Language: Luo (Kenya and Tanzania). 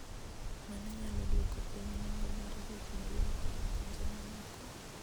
Mano nyalo dwoko piny nengo mar gik miloko e pinje mamoko.